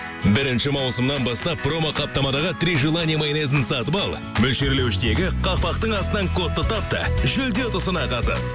бірінші маусымнан бастап промо қаптамадағы три желания майонезін сатып ал мөлшерлеуіштегі қақпақтың астынан кодты тап та жүлде ұтысына қатыс